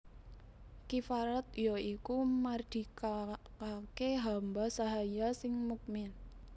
Kifarat ya iku mardikakaké hamba sahaya sing mukmin